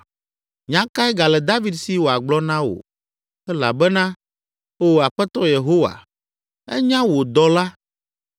“Nya kae gale David si wòagblɔ na wò? Elabena, Oo Aƒetɔ Yehowa, ènya wò dɔla.